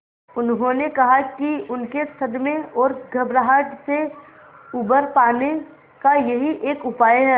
उन्होंने कहा कि उनके सदमे और घबराहट से उबर पाने का यही एक उपाय है